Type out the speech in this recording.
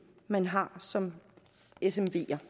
man har som smv det